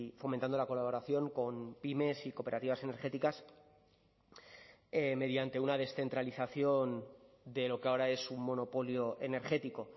fomentando la colaboración con pymes y cooperativas energéticas mediante una descentralización de lo que ahora es un monopolio energético